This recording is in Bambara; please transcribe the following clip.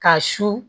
Ka su